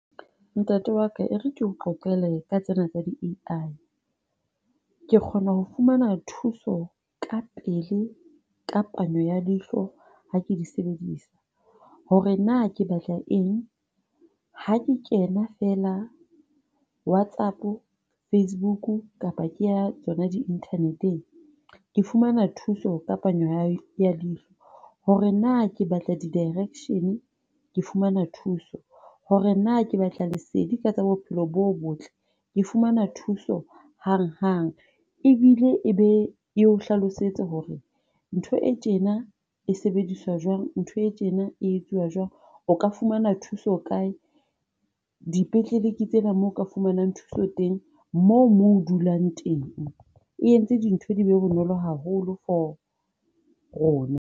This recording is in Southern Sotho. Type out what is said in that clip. Ntate wa ka ere keo qoqele ka tsena tsa di-AI. Ke kgona ho fumana thuso kapele, ka panyo ya leihlo ha ke di sebedisa, hore na ke batla eng, ha ke kena fela Whatsapp, Facebook kapa ke ya tsona di-internet-eng, ke fumana thuso ka panyo ya leihlo. Hore na ke batla di-direction. Ke fumana thuso, hore na ke batla lesedi ka tsa bophelo bo botle, ke fumana thuso hang-hang, ebile e be e o hlalosetse hore ntho e tjena e sebediswa jwang, ntho e tjena e etsuwa jwang, o ka fumana thuso kae, dipetlele ke tsena mo ka fumanang thuso teng, moo moo o dulang teng. E entse dintho di be bonolo haholo for rona.